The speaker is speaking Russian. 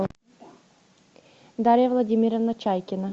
дарья владимировна чайкина